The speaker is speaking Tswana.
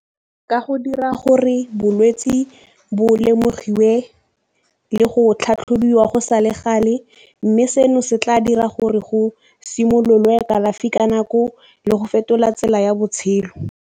Ka go dira gore bolwetse bo lemogiwe le go tlhatlhobiwa go sa le gale, mme seno se tla dira gore go simololwe kalafi ka nako le go fetola tsela ya botshelo.